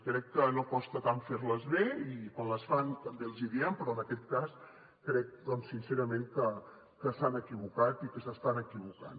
crec que no costa tant fer les bé i quan les fan també els ho diem però en aquest cas crec doncs sincerament que s’han equivocat i que s’estan equivocant